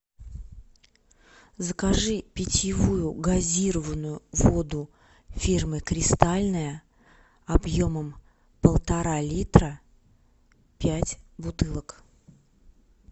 закажи питьевую газированную воду фирмы кристальная объемом полтора литра пять бутылок